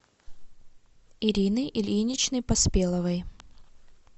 ирины ильиничны поспеловой